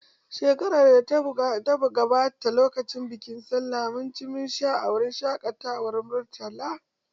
Shekarar da ta gabata lokacin bikin sallah mun ci mun sha a wurin shaƙatawar Murtala.